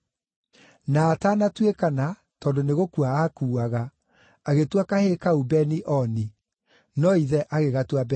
Na atanatuĩkana, tondũ nĩ gũkua aakuaga, agĩtua kahĩĩ kau Beni-Oni. No ithe agĩgatua Benjamini.